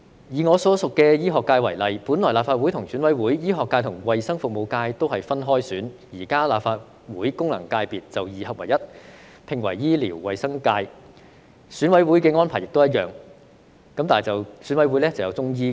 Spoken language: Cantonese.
以我所屬的醫學界為例，本來立法會和選委會，醫學界和衞生服務界都是分開選，現在立法會功能界別就二合為一，合併為醫療衞生界；選委會的安排亦一樣，但就加入了中醫界。